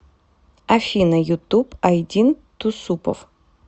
афина ютуб айдин туссупов